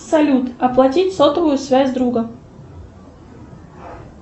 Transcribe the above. салют оплатить сотовую связь друга